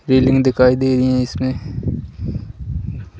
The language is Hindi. रीलिंग दिखाई दे रही है इसमें --